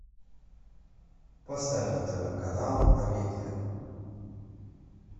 поставь на тв канал амедиа